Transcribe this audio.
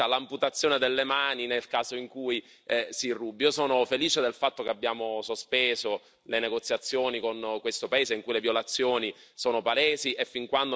Io sono felice del fatto che abbiamo sospeso le negoziazioni con questo paese in cui le violazioni sono palesi e, fin quando non verranno rispettati i diritti umani, speriamo di non riprenderle.